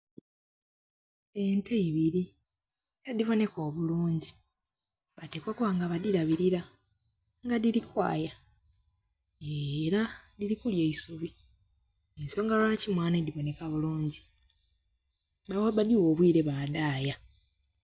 Ente ibiri edhi boneka obulungi batekwa okuba nga badirabirira nga dhiri kwaya era dhiri kulya eisubi nensonga lwaki mwame dhiboneka bulungi nga ni bwe badhigha obwiire badaya.